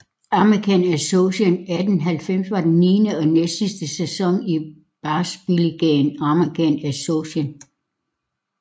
American Association 1890 var den niende og næstsidste sæson i baseballligaen American Association